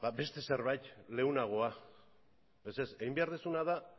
ba beste zerbait leunagoa ez ez egin behar duzuna da